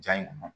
Ja in kɔnɔ